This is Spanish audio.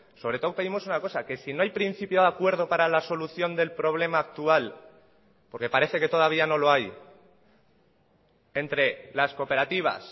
sobre todo pedimos una cosa que si no hay principio de acuerdo para la solución del problema actual porque parece que todavía no lo hay entre las cooperativas